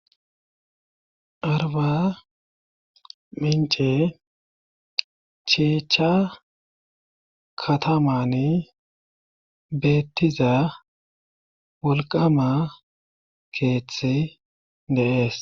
arba mince cheechcha katamani beettiza wolqama keeththi deees